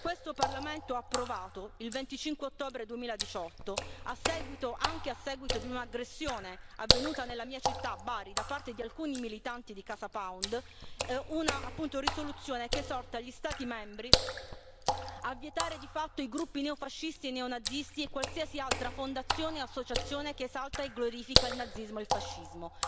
Questo Parlamento ha approvato, il 25 ottobre 2018, anche a seguito di un'aggressione avvenuta nella mia città, Bari, da parte di alcuni militanti di Casa Pound, una risoluzione che esorta gli Stati membri a vietare di fatto i gruppi neofascisti e neonazisti e qualsiasi altra fondazione o associazione che esalta e glorifica il nazismo e fascismo.